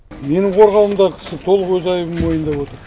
менің қорғауымдағы кісі толық өз айыбын мойындап отыр